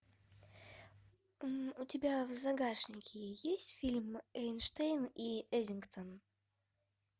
у тебя в загашнике есть фильм эйнштейн и эддингтон